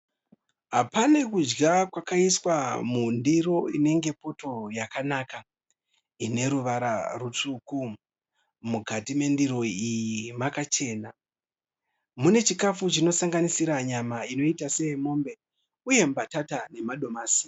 Pane kudya kwakaiswa mundiro inenge poto yakanaka, ineruvara rutsvuku. Mukati mendiro iyi makachena. Mune chikafu chinosanganisira nyama inoita seyemombe uye mbatata nemadomasi.